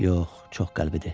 Yox, çox qəlbdir.